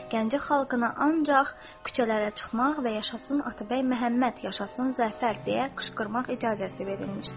Gəncə xalqına ancaq küçələrə çıxmaq və yaşasın Atabəy Məhəmməd, yaşasın zəfər deyə qışqırmaq icazəsi verilmişdir.